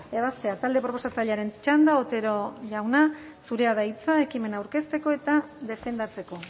ebazpena talde proposatzailearen txanda otero jauna zurea da hitza ekimena aurkezteko eta defendatzeko